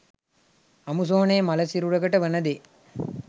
අමුසොහොනේ මළ සිරුරකට වන දේ